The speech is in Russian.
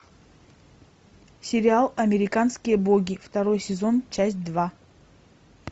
сериал американские боги второй сезон часть два